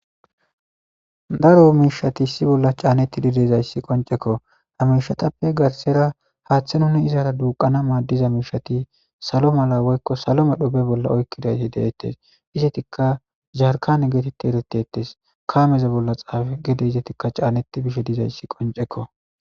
Daro mishati issi bolla canetidi de'izaysati qonceko ha mishatappe garisara hathe nuni izara duqana madiza mishati salo mala woykon salo medho be bolla oykidayti detes izetika jarikane geteti eretetes kameza bolla xafeti dizaytika caneti de'etes